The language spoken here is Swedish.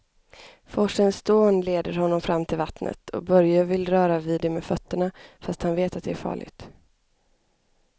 Forsens dån leder honom fram till vattnet och Börje vill röra vid det med fötterna, fast han vet att det är farligt.